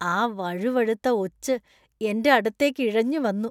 ആ വഴുവഴുത്ത ഒച്ച് എന്‍റെ അടുത്തേക്ക് ഇഴഞ്ഞുവന്നു.